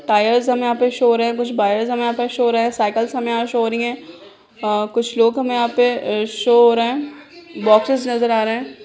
Tyres हमे यहां पे शो हो रहे हैं कुछ हमे यहां पे शो हो रहे हैं साइकल्स हमे यहां शो हो रहीं हैं आ कुछ लोग हमे यहां पे अ शो हो रहा है बॉक्सेस नजर आ रहे है।